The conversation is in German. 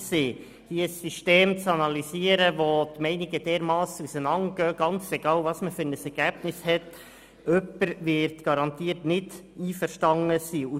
Ein System zu analysieren, bei dem die Meinungen so stark auseinandergehen, egal, wie das Ergebnis aussieht, ist nicht einfach, und immer wird jemand nicht einverstanden sein.